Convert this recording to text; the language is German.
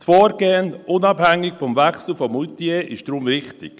Das Vorgehen, unabhängig vom Wechsel von Moutier, ist deshalb richtig.